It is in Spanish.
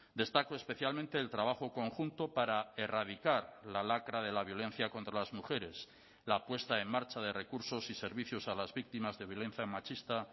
destaco especialmente el trabajo conjunto para erradicar la lacra de la violencia contra las mujeres la puesta en marcha de recursos y servicios a las víctimas de violencia machista